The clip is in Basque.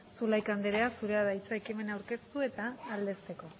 zulaika anderea zurea da hitza ekimena aurkezte eta aldezteko